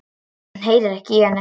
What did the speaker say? Hann heyrir ekki í henni.